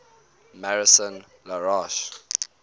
maison la roche